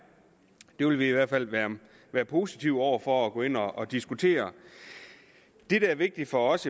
det vil vi i hvert fald være positive over for at gå ind og diskutere det der er vigtigt for os